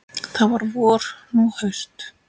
Þá var vor, nú haust.